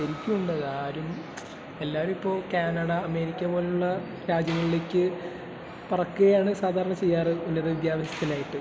ശരിക്കുമുണ്ട്, ആരും..എല്ലാരുമിപ്പോ Canada, America പോലുള്ള രാജ്യങ്ങളിലേക്ക് പറക്കുകയാണ് സാധാരണ ചെയ്യാറ് ഉന്നത വിദ്യാഭ്യാസത്തിനായിട്ട്..